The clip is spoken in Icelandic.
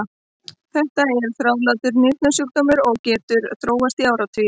Þetta er þrálátur nýrnasjúkdómur og getur þróast í áratugi.